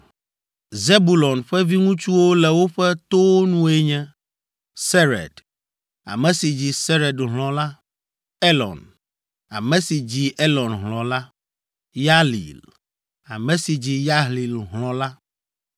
Zebulon ƒe viŋutsuwo le woƒe towo nue nye: Sered, ame si dzi Sered hlɔ̃ la, Elon, ame si dzi Elon hlɔ̃ la, Yahlil, ame si dzi Yahlil hlɔ̃ la.